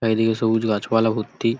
এইদিকে সবুজ গাছপালা ভর্তি ।